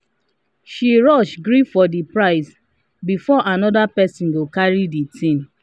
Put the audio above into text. she rush gree for the price before another person go carry the thing.